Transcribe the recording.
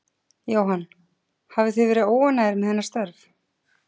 Jóhann: Hafið þið verið óánægð með hennar störf?